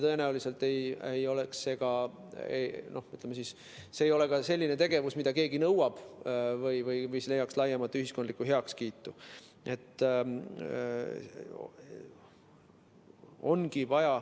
Tõenäoliselt ei oleks see selline tegevus, mida keegi nõuaks või mis leiaks laiemat ühiskondlikku heakskiitu.